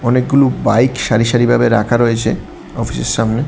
অনেকগুলো বাইক সারি সারি ভাবে রাখা রয়েছে অফিসের সামনে।